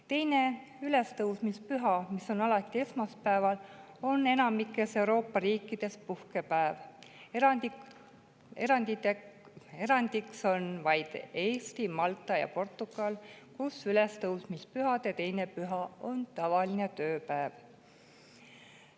Teine ülestõusmispüha, mis on alati esmaspäeval, on enamikus Euroopa riikides puhkepäev, erandiks on vaid Eesti, Malta ja Portugal, kus ülestõusmispühade 2. püha on tavaline tööpäev.